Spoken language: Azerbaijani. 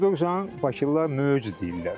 Quduqsan Bakılılar möc deyirlər.